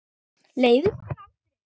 Leiðist þér aldrei?